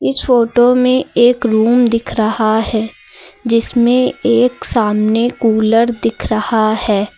इस फोटो में एक रूम दिख रहा है जिसमें एक सामने कूलर दिख रहा है।